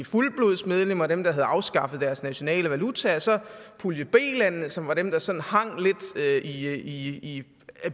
fuldblodsmedlemmer dem der havde afskaffet deres nationale valuta og så pulje b lande som var dem der sådan hang lidt i